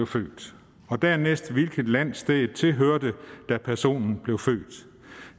født og dernæst hvilket land stedet tilhørte da personen blev født